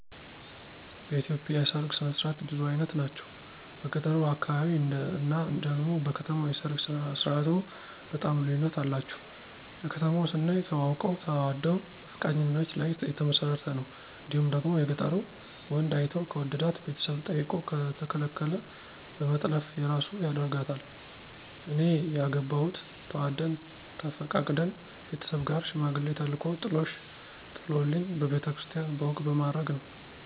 በኢትዮጵያ የሠርግ ስነ ስርዓት ብዙ አይነት ናቸው። በገጠሩ አካባቢ እና ደግሞ በከተማው የሰርግ ስርዓቱ በጣም ልዩነት አላቸው። የከተማው ስናይ ተዋውቀው ተዋደው በፈቃደኝነት ላይ የተመሰረተ ነው እንዲሁም ደግሞ የገጠሩ ወንዱ አይቶ ከወደዳት ቤተሰብ ጠይቆ ከተከለከለ በመጥለፍ የራሱ ያረጋታል። እኔ ያገባሁት ተዋደን ተፈቃቅደን ቤተሠብ ጋር ሽማግሌ ተልኮ ጥሎሽ ጥሎልኝ በቤተ ክርስቲያን በወግ በማረግ ነው።